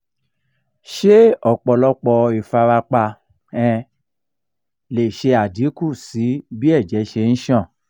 se opolopo ifarapa um le fa adinku si bi eje se n san?